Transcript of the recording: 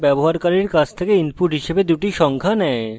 একটি program লিখুন যা ব্যবহারকারীর কাছ থেকে input হিসেবে দুটি সংখ্যা নেয়